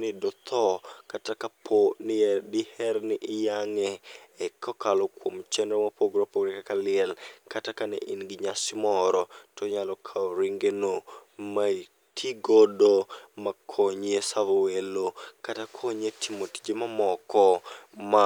ni dotho kata kapo ni diher ni iyang'e e kokalo kuom chenro mopogore opogore kaka liel. Kata ka ne in gi nyasi moro, to inyalo kawo ringe no ma itigodo ma konyi e savo welo kata konyi e tije mamoko ma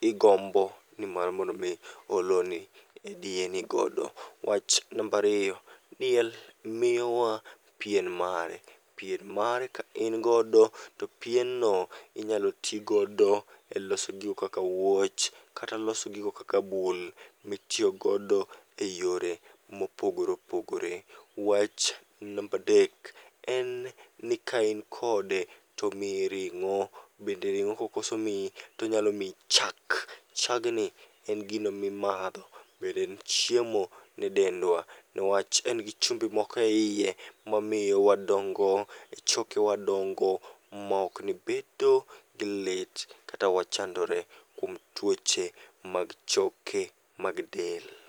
igombo ni mar mondo mi oloni e diyeni godo. Wach nambariyo, diel miyowa pien mare. Pien mare ka in godo to pien no inyalo ti godo e loso gigo kaka wuoch, kata loso gigo kaka bul mitiyo godo e yore mopogore opogore. Wach nambadek, en ni kain kode tomiyi ring'o. Bende ring'o kokoso miyi, tonyalo miyi chak. Chagni en gino mimadho, bende en chiemo ne dendwa. Niwach en gi chumbi moko eiye, mamiyo wadongo, e choke wadongo maok ni bedo gi lit. Kata wachandore kuom tuoche mag choke mag del.